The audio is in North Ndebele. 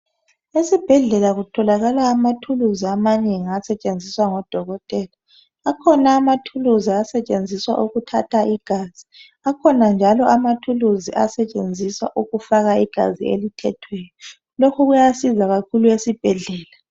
esibhedlela kutholakala amathulusi amanengi asetshenziswa ngodokotela akhona amathulusi asetshenziswa ukuthatha igazi akhona njalo amathulusi asetshenziswa ukufaka igazi elithethweyo lokhu kuyasiza kakhulu esibhedlela